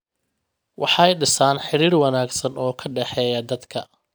Waxay dhisaan xiriir wanaagsan oo ka dhexeeya dadka.